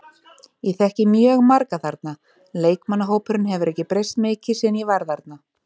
Ég þekki mjög marga þarna, leikmannahópurinn hefur ekki breyst mikið síðan ég var þarna.